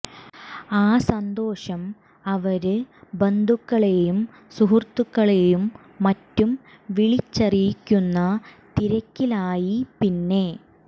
ആ സന്തോഷം അവര് ബന്ധുക്കളേയും സുഹൃത്തുക്കളേയും മറ്റും വിളിച്ചറിയിക്കുന്ന തിരക്കിലായി പിന്നെ